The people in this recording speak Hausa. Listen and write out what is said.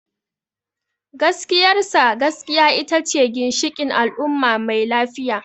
Gaskiyar sa, gaskiya ita ce ginshikin al’umma mai lafiya.